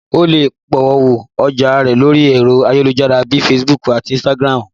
O lè polówó ọjà rẹ lórí ẹ̀rọ ayélujára bíi Facebook àti Instagram